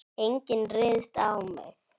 Enginn ryðst á mig.